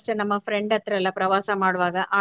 ನಮ್ಮ friend ಹತ್ರೆಲ್ಲ ಪ್ರವಾಸ ಮಾಡುವಾಗ